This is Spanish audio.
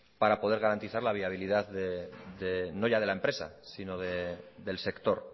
para poder garantizar la viabilidad no ya de la empresa sino del sector